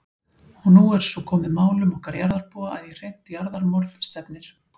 Og nú er svo komið málum okkar jarðarbúa að í hreint jarðarmorð stefnir.